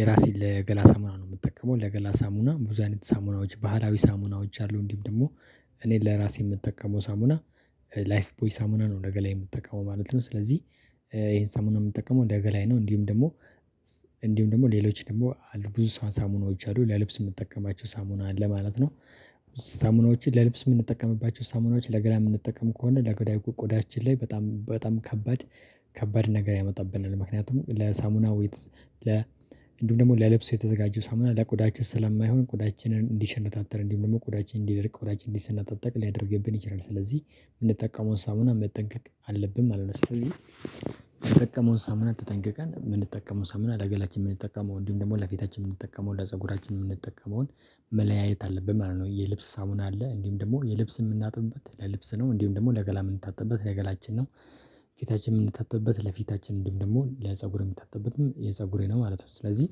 የራሴን ለገላ ሳሙና ነው። የምጠቀመው ለገላ ሳሙና ብዙ አይነት ሳሙናዎች ባህላዊ ሳሙናዎች አሉ። እንዲሁም ደግሞ እኔን ለራሴ የምጠቀመው ሳሙና ላይፍ ቦይ ሳሙና ነው ለገላዬ የምትጠቀመው ማለት ነው። ስለዚህ ይሄን ሳሙና የምጠቀመው ለገላዬ ነው። እንዲሁም ደግሞ እንዲሁም ደግሞ ሌሎች ደግሞ ብዙ ሳሙናዎች አሉ ለልብስ የምጠቀማቸው ሳሙና አለ ማለት ነው። ሳሙናዎችን ለልብስ የምንጠቀምባቸው ሳሙናዎችን ለገላ የምንጠቀም ከሆነ ለጉዳዩ ቆዳችን ላይ በጣም በጣም ከባድ ከባድ ነገር ያመጣብናል። ምክንያቱም ለሳሙናዊት ለ እንዲሁም ደግሞ ለልብሶ የተዘጋጁ ሳሙና ለቆዳችን ስለማይሆን ቆዳችንን እንዲሸነታተር እንዲሁም ደግሞ ቆዳችን እንዲደርቅ ቆዳችን እንዲሰነጣጠጥቅ ሊያደርግብን ይችላል። ስለዚህ የምንጠቀመውን ሳሙና መጠንቀቅ አለብን ማለት ነው። ስለዚህ የምንጠቀመውን ሳሙና ተጠንቀቀን የምንጠቀመውን ሳሙና ለገላችን የምንጠቀመው እንዲሁም ደግሞ ለፊታችን የምንጠቀመው ለፀጉራችን የምንጠቀመውን መለያየት አለብን ማለት ነው። የልብስ ሳሙና አለ እንዲሁም ደግሞ የልብስ የምናጥብበት ለልብስ ነው እንዲሁም ደግሞ ለገላ የምንታጠብበት ለገላችን ነው። ፊታችን የምንታጠብበት ለፊታችን እንዲሁም ደግሞ ለፀጉር የምንታጠብበትም የፀጉሬ ነው ማለት ነው። ስለዚህ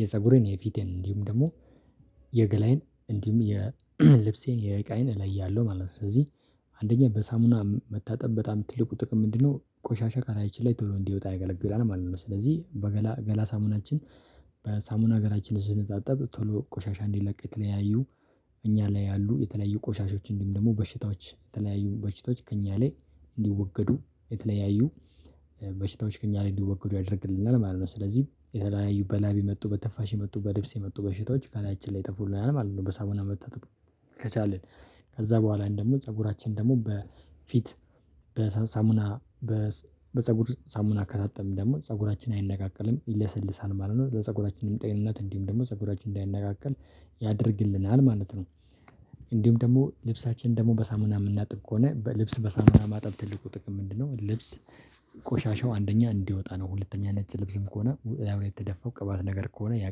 የፀጉሬን የፊቴን እንዲሁም ደግሞ የገላዬን እንዲሁም የልብሴን የዕቃይን እለያለሁ ማለት ነው። ስለዚህ አንደኛ በሳሙና መታጠብ በጣም ትልቁ ጥቅም ምንድነው? ቆሻሻ ካላያችን ላይ ቶሎ እንዲወጣ ይገለግላል ማለት ነው። ስለዚህ በገላ ገላ ሳሙናችን በሳሙና ገላችንን ስንታጠብ ቶሎ ቆሻሻ እንዲለቅ የተለያዩ እኛ ላይ ያሉ የተለያዩ ቆሻሾችን እንዲሁም ደግሞ በሽታዎች የተለያዩ በሽታዎች ከእኛ ላይ እንዲወገዱ የተለያዩ በሽተዎች ከእኛ ላይ እንዲወገዱ ያደርግልናል ማለት ነው። ስለዚህ የተለያዩ በላቢ የመጡ በትንፋሽ የመጡ በልብስ የመጡ በሽታዎች ከላያችን ላይ ይጠፉልናል ማለት ነው። በሳሙና መታጠብ ከቻልን ከዛ በኋላ አንድ ደግሞ ፀጉራችን ደግሞ በፊት በሳሙና በፀጉር ሳሙና ከታጠብን ደግሞ ፀጉራችን አይነቃቀልም ይለሰልሳል ማለት ነው። ለፀጉራችንም ጤንነት እንዲሁም ደግሞ ፀጉራችን እንዳይነቃቀል ያደርግልናል ማለት ነው። እንዲሁም ደግሞ ልብሳችን ደግሞ በሳሙና የምናጥብ ከሆነ በልብስ በሳሙና ማጠብ ትልቁ ጥቅሙ ምንድነው? ልብስ ቆሻሻው አንደኛ እንዲወጣ ነው። ሁለተኛ ነጭ ልብስም ከሆነ እላዩ ላይ የተደፋው ቅባት ነገር ከሆነ ያ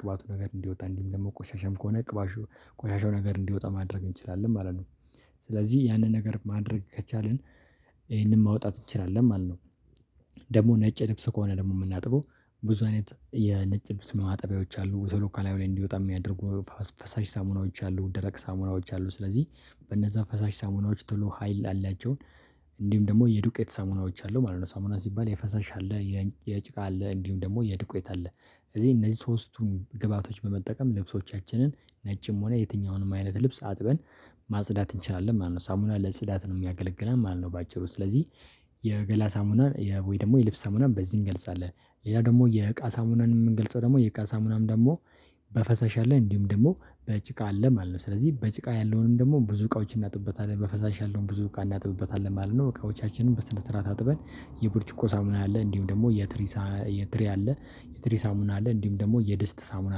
ቅባቱ ነገር እንዲወጣ እንዲም ደግሞ ቆሻሻም ከሆነ ቆሻሻው ነገር እንዲወጣ ማድረግ እንችላለን ማለት ነው። ስለዚህ ያንን ነገር ማድረግ ከቻልን ይሄንን ማውጣት እንችላለን ማለት ነው። ደግሞ ነጭ ልብስ ከሆነ ደግሞ የምናጥበው ብዙ አይነት የነጭ ልብስ ማጠቢያዎች አሉ ዘሎካል ከላዩ እንዲወጣ የሚያደርጉ ፈሳሽ ሳሙናዎች አሉ። ደረቅ ሳሙናዎች አሉ ስለዚህ በእነዛ ፈሳሽ ሳሙናዎች ቶሎ ሀይል አላቸውን እንዲሁም ደግሞ የዱቄት ሳሙናዎች አሉ ማለት ነው። ሳሙና ሲባል የፈሳሽ አለ የጭቃ አለ እንዲሁም ደግሞ የዱቄት አለ ስለዚህ እነዚህ ሶስቱን ግባቶች በመጠቀም ልብሶቻችንን ነጭም ሆነ የትኛውንም አይነት ልብስ አጥበን ማጽዳት እንችላለን ማለት ነው። ሳሙና ለጽዳት ነው የሚያገለግለን ማለት ነው። በአጭሩ ስለዚህ የገላ ሳሙናን ወይ ደግሞ የልብስ ሳሙናን በዚህ እንገልጻለን። ሌላ ደግሞ የእቃ ሳሙናን የምንገልጸው ደግሞ የእቃ ሳሙናም ደግሞ በፈሳሽ አለ እንዲሁም ደግሞ በጭቃ አለ ማለት ነው። ስለዚህ በጭቃ ያለውንም ደግሞ ብዙ እቃዎችን እናጥብበታለን በፈሳሽ ያለውን ብዙ እቃ እናጥብበታለን ማለት ነው። እቃዎቻችንን በስነ ስርዓት አጥበን የብርጭቆ ሳሙና አለ እንዲሁም ደግሞ የትሪ የትሪ አለ የትሪ ሳሙና አለ እንዲሁም ደግሞ የድስት ሳሙና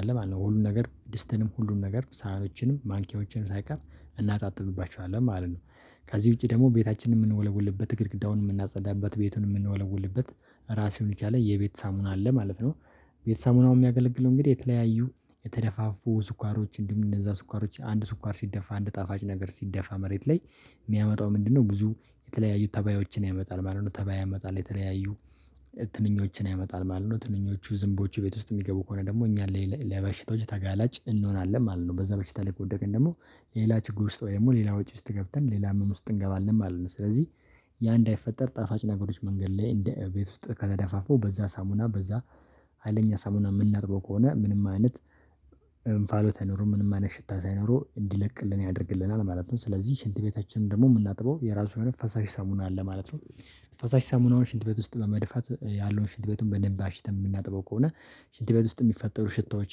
አለ ማለት ነው። ሁሉን ነገር ድስትንም ሁሉን ነገር ሳህኖችንም ማንኪያዎችንም ሳይቀር እናጣጥብባችኋለን ማለት ነው። ከዚህ ውጪ ደግሞ ቤታችንን የምንወለወልበት ግድግዳውን የምናጸዳበት ቤቱን የምንወለወልበት ራሱን የቻለ የቤት ሳሙና አለ ማለት ነው። ቤት ሳሙናው የሚያገለግለው እንግዲህ የተለያዩ የተደፋፉ ስኳሮች እንዲሁም እነዛ ስኳሮች አንድ ስኳር ሲደፋ አንድ ጣፋጭ ነገር ሲደፋ መሬት ላይ የሚያመጣው ምንድነው ብዙ የተለያዩ ተባዮችን ያመጣል ማለት ነው። ተባይ ያመጣል የተለያዩ ትንኞችን ያመጣል ማለት ነው። ትንኞቹ ዝንቦቹ ቤት ውስጥ የሚገቡ ከሆነ ደግሞ እኛን ለበሽቶች ተጋላጭ እንሆናለን ማለት ነው። በዛ በሽታ ላይ ከወደቅን ደግሞ ሌላ ችግር ውስጥ ወይ ደግሞ ሌላ ወጪ ውስጥ ገብተን ሌላ ህመም ውስጥ እንገባለን ማለት ነው። ስለዚህ ያ እንዳይፈጠር ጣፋጭ ነገሮች መንገድ ላይ እንደ ቤት ውስጥ ከተደፋፉ በዛ ሳሙና በዛ ሀይለኛ ሳሙና የምናጥበው ከሆነ ምንም አይነት እንፋሎት አይኖርም ምንም አይነት ሽታ ሳይኖረው እንዲለቅልን ያደርግልናል ማለት ነው። ስለዚህ ሽንት ቤታችንም ደግሞ የምናጥበው የራሱ የሆነ ፈሳሽ ሳሙና አለ ማለት ነው። ፈሳሽ ሳሙናውን ሽንት ቤት ውስጥ በመድፋት ያለውን ሽንት ቤቱን በደንብ አሽተን የምናጥበው ከሆነ ሽንት ቤት ውስጥ የሚፈጠሩ ሽታዎች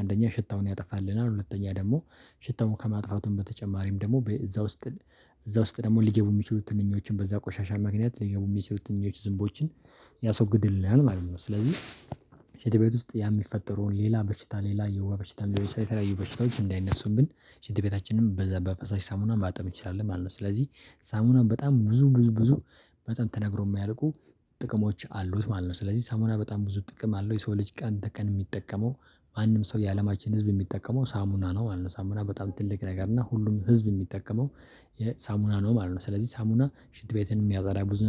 አንደኛ ሽታውን ያጠፋልናል ሁለተኛ ደግሞ ሽታውን ከማጥፋቱም በተጨማሪም ደግሞ እዛ ውስጥ እዛ ውስጥ ደግሞ ሊገቡ የሚችሉትን ትንኞችን በዛ ቆሻሻ አማካኝነት ሊገቡ የሚችሉት ትንኞችን ዝንቦችን ያስወግድልናል ማለት ነው። ስለዚህ ሽንት ቤት ውስጥ ያ የሚፈጠረውን ሌላ በሽታ ሌላ የወባ በሽታ ሊሆን ይችላል የተለያዩ በሽታዎች እንዳይነሱብን ሽንት ቤታችንንም በዛ በፈሳሽ ሳሙና ማጠብ እንችላለን ማለት ነው። ስለዚህ ሳሙና በጣም ብዙ ብዙ ብዙ በጣም ተነግሮ የማያልቁ ጥቅሞች አሉት ማለት ነው። ስለዚህ ሳሙና በጣም ብዙ ጥቅም አለው። የሰው ልጅ ቀን ተቀን የሚጠቀመው ማንም ሰው የአለማችን ህዝብ የሚጠቀመው ሳሙና ነው ማለት ነው። ሳሙና በጣም ትልቅ ነገር እና ሁሉም ህዝብ የሚጠቀመው የሳሙና ነው ማለት ነው። ስለዚህ ሳሙና ሽንት ቤትንም የሚያፀዳ ብዙ ነገር